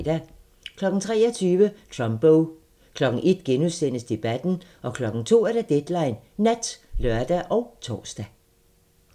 23:00: Trumbo 01:00: Debatten * 02:00: Deadline Nat (lør og tor)